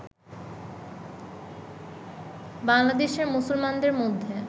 বাঙলা দেশের মুসলমানদের মধ্যে